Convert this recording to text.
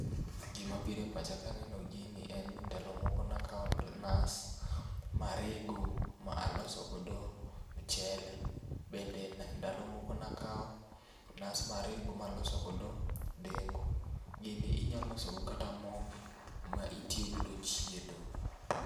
Gima biro e pacha kaneno gini en ni ndalo moko nakaw nas marego ma aloso godo mchele. Bende ndalo moko nakao nas marego maloso godo dengu. Gini inya loso godo kata moo ma itiyo godo chiedo